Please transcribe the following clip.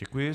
Děkuji.